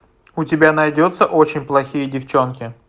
у тебя найдется очень плохие девчонки